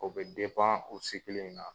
O bɛ o sigi kelen in na.